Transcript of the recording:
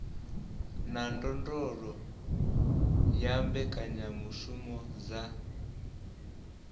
na ndondolo ya mbekanyamushumo dza